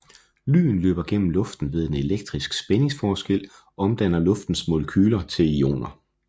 Lyn løber gennem luften ved at en elektrisk spændingsforskel omdanner luftens molekyler til ioner